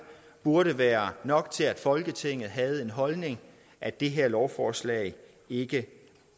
burde være nok til at folketinget havde den holdning at det her lovforslag ikke